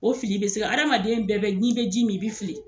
O fili bɛ se ka adamaden bɛɛ bɛ n'i bɛ ji min i bɛ fili.